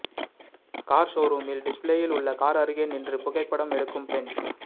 car ஷோரூமில் டிஸ்ப்ளேயில் உள்ள கார் அருகே நின்று புகைப்படம் எடுக்கும் பெண்